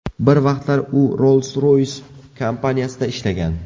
Bir vaqtlar u Rolls-Royce kompaniyasida ishlagan.